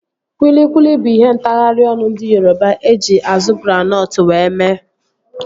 Kwilikwili bụ ihe ntagharị ọnụ ndị Yoroba eji azu granọtụ wee mee